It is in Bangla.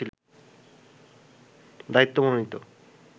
দায়িত্ব মনোনীত